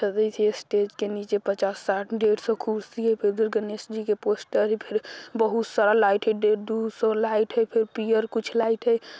स्टेज के नीचे पच्चास साठ डेढ़ सौ कुर्सी है फेर उधर गणेश जी के पोस्टर हई फेर बहुत सारा लाइट हई डेढ़-डेढ़ सौ लाइट हई फेर पियर कुछ लाइट हई।